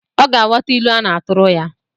Ọ ga-aghọta ilu na-atụrụ ya